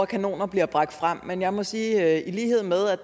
kanoner bliver bragt frem men jeg må sige at jeg i lighed med at